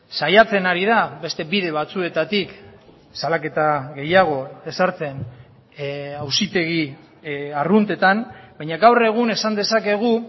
saiatzen ari da beste bide batzuetatik salaketa gehiago ezartzen auzitegi arruntetan baina gaur egun esan dezakegu